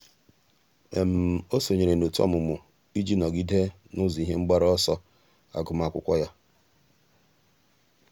ọ́ sònyèrè n’òtù ọ́mụ́mụ́ iji nọ́gídé n’ụ́zọ́ ihe mgbaru ọsọ agụmakwụkwọ ya.